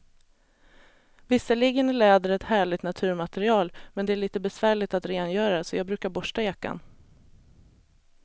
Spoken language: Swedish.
Visserligen är läder ett härligt naturmaterial, men det är lite besvärligt att rengöra, så jag brukar borsta jackan.